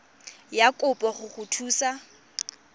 ya kopo go go thusa